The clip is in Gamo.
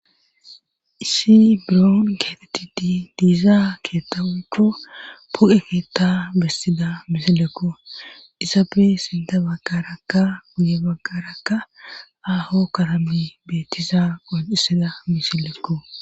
issi biroon geetetid diizaa keetta ucchu pu7e keetta bessida misilekko isapfe sinta baggarakka guye baggarakka aaho karami beetiza qonisida misilekko